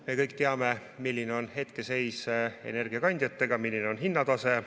Me kõik teame, milline on hetkeseis energiakandjatega ja milline on hinnatase.